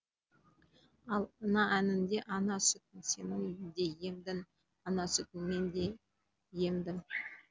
ал ана әнінде ана сүтін сен де емдің ана сүтін мен де емдім